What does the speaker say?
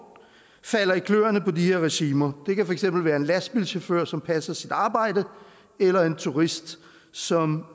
falder i kløerne på de her regimer det kan for eksempel være en lastbilchauffør som passer sit arbejde eller en turist som